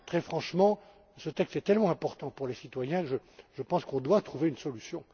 Très franchement, ce texte est tellement important pour les citoyens que je pense que nous devons trouver une solution.